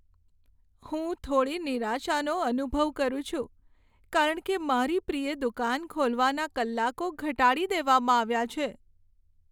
હું થોડી નિરાશાનો અનુભવ કરું છું, કારણ કે મારી પ્રિય દુકાન ખોલવાના કલાકો ઘટાડી દેવામાં આવ્યા છે.